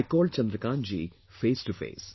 I called Chandrakantji face to face